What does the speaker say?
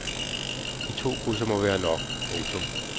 De to krydser må være nok. punktum